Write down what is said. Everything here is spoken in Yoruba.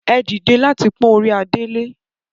Ẹ dìde láti pọ́n orí adé lé!